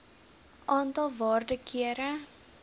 aantal waarde kere